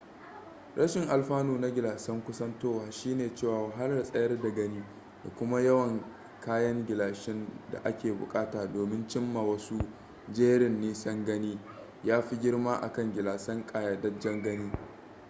rashin alfanu na gilasan kusantowa shine cewa wahalar tsayar da gani da kuma yawan kayan gilashin da ake bukata domin cim ma wasu jerin nisan gani ya fi girma akan gilasan ƙayyadajjen gani